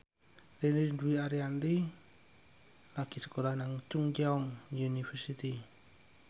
Ririn Dwi Ariyanti lagi sekolah nang Chungceong University